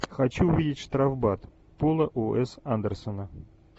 хочу увидеть штрафбат пола у с андерсона